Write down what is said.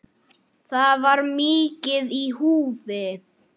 Það var mikið í húfi.